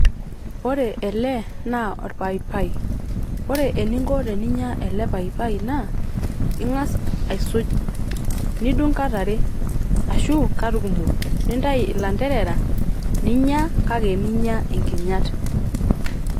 ore ele naa orpaipai . ore eninko teninya ele paipai naa ingas aisuj ,nidung kat are, ashu kat kumok ,nintai ilanterera ninya ,kake minya nkinyat.